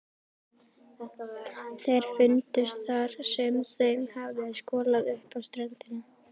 Þeir fundust þar sem þeim hafði skolað upp á ströndina.